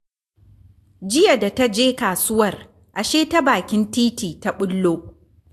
Jiya da ta je kasuwar, ashe ta bakin titi ta ɓullo